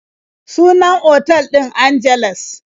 Sunan otal ɗin Angeles.